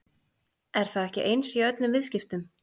Er það ekki eins í öllum viðskiptum?